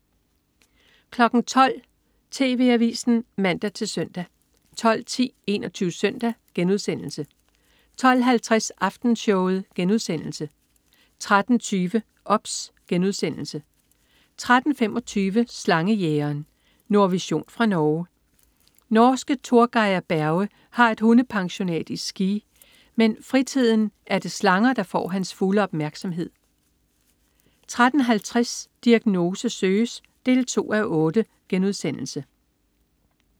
12.00 TV Avisen (man-søn) 12.10 21 Søndag* 12.50 Aftenshowet* 13.20 OBS* 13.25 Slangejægeren. Nordvision fra Norge. Norske Torgeir Berge har et hundepensionat i Ski, men i fritiden er det slanger, der får hans fulde opmærksomhed 13.50 Diagnose søges 2:8*